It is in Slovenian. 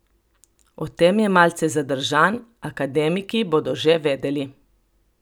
O tem je malce zadržan: 'Akademiki bodo že vedeli.